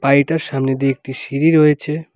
বাড়িটার সামনে দিয়ে একটি সিঁড়ি রয়েছে।